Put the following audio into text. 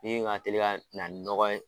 Min ka teli ka na ni nɔgɔ ye.